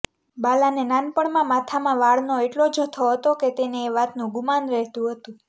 બાલાને નાનપણમાં માથામાં વાળનો એટલો જથ્થો હતો કે તેને એ વાતનું ગુમાન રહેતું હતું